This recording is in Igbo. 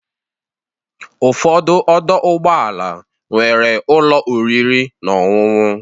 Ụfọdụ ọdọ ụgbọala nwere ụlọ oriri na ọṅụṅụ.